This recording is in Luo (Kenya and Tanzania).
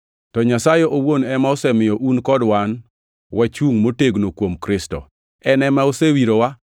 To Nyasaye owuon ema osemiyo un kod wan wachungʼ motegno kuom Kristo. En ema osewirowa,